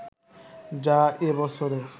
যা এ বছরের